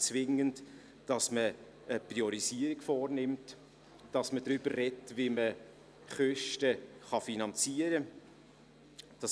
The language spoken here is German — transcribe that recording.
Dies führt dazu, dass man eine Priorisierung vornimmt und darüber spricht, wie man Ausgaben finanzieren kann.